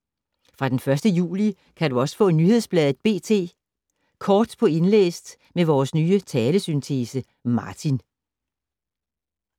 Fra den 1. juli kan du også få nyhedsbladet B.T. Kort på indlæst med vores nye talesyntese, Martin.